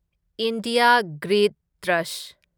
India grid trust